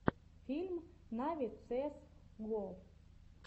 фильм нави цээс го